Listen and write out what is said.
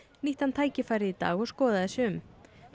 nýtti hann tækifærið í dag og skoðaði sig um